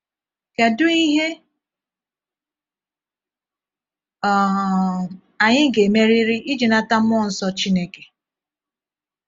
Kedu ihe um anyị ga-emerịrị iji nata mmụọ nsọ Chineke?